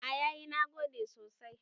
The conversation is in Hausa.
A yayi nagode sosai